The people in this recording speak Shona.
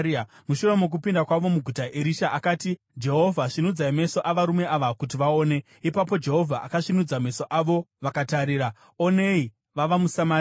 Mushure mokupinda kwavo muguta, Erisha akati, “Jehovha, svinudzai meso avarume ava kuti vaone.” Ipapo Jehovha akasvinudza meso avo vakatarira, onei, vava muSamaria.